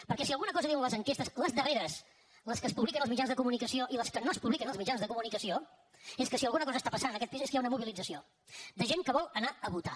perquè si alguna cosa diuen les enquestes les darreres les que es publiquen als mitjans de comunicació i les que no es publiquen als mitjans de comunicació és que si alguna cosa està passant en aquest país és que hi ha una mobilització de gent que vol anar a votar